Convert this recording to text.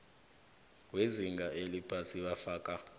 wezinga eliphasi afaka